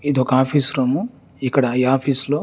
ఇది ఒక office room ఇక్కడ ఈ ఆఫీస్ లో --